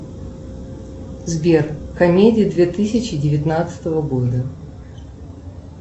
сбер комедии две тысячи девятнадцатого года